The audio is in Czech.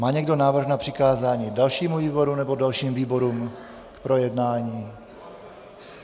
Má někdo návrh na přikázání dalšímu výboru nebo dalším výborům k projednání?